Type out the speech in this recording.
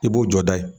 I b'o jɔ da ye